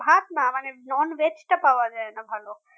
ভাত না মানে non veg টা পাওয়া যায় না ভালো